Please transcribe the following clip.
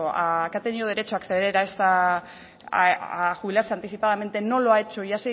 que ha tenido derecho a acceder a jubilarse anticipadamente no lo ha hecho y